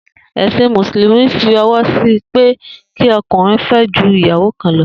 È̩sìn Mùsùlùmí fí o̩wó̩ sí i pé kí o̩kùnrin fé̩ ju ìyàwó kan lo̩